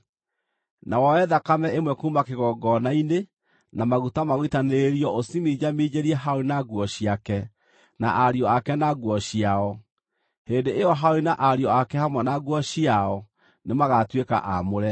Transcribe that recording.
Na woe thakame ĩmwe kuuma kĩgongona-inĩ na maguta ma gũitanĩrĩrio ũciminjaminjĩrie Harũni na nguo ciake, na ariũ ake na nguo ciao. Hĩndĩ ĩyo Harũni na ariũ ake hamwe na nguo ciao nĩmagatuĩka aamũre.